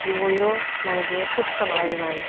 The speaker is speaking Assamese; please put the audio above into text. সেই কৰিও মানে কি সুস্ত নহয় বেমাৰী